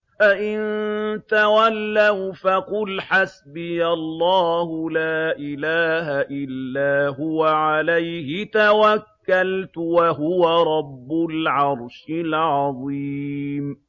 فَإِن تَوَلَّوْا فَقُلْ حَسْبِيَ اللَّهُ لَا إِلَٰهَ إِلَّا هُوَ ۖ عَلَيْهِ تَوَكَّلْتُ ۖ وَهُوَ رَبُّ الْعَرْشِ الْعَظِيمِ